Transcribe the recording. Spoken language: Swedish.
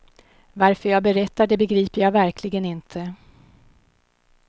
Varför jag berättar det begriper jag verkligen inte.